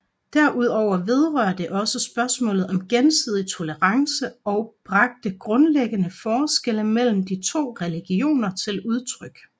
Derudover vedrørte det også spørgsmålet om gensidig tolerance og bragte grundlæggende forskelle mellem de to religioner til udtryk